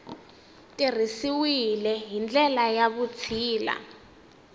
tirhisiwile hi ndlela ya vutshila